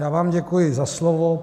Já vám děkuji za slovo.